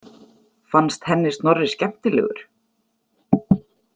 Fannst henni Snorri skemmtilegur?